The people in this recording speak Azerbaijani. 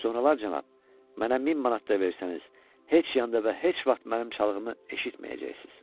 Sonralar cənab, mənə 1000 manat da versəniz, heç yanda və heç vaxt mənim çalğımı eşitməyəcəksiniz.